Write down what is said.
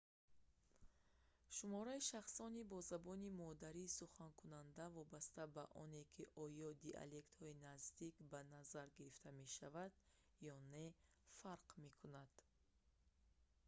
шумораи шахсони бо забони модарӣ суханкунанда вобаста ба оне ки оё диалектҳои наздик ба назар гирифта мешаванд ё не фарқ мекунад